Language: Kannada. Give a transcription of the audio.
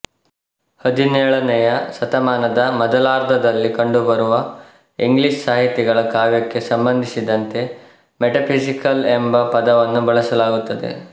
ಹದಿನೇಳನೆಯ ಶತಮಾನದ ಮೊದಲಾರ್ಧಾದಲ್ಲಿ ಕಂಡುಬರುವ ಇಂಗ್ಲೀಷ್ ಸಾಹಿತಿಗಳ ಕಾವ್ಯಕ್ಕೆ ಸಂಬಂಧಿಸಿದಂತೆ ಮೆಟಫಿಸಿಕಲ್ ಎಂಬ ಪದವನ್ನು ಬಳಸಲಾಗುತ್ತದೆ